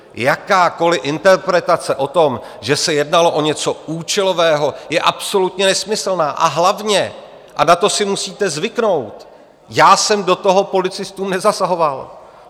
Jakákoli interpretace o tom, že se jednalo o něco účelového, je absolutně nesmyslná, a hlavně, a na to si musíte zvyknout, já jsem do toho policistům nezasahoval.